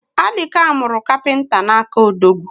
Alika muru kapinta n’aka Odogwu